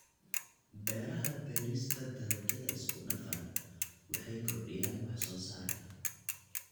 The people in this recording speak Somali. Beeraha Beerista dalagyada isku dhafan waxay kordhiyaan wax soo saarka.